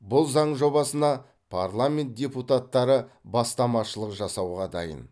бұл заң жобасына парламент депутаттары бастамашылық жасауға дайын